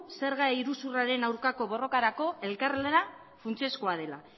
zerga iruzurraren aurkako borrokarako elkarlana funtsezkoa dela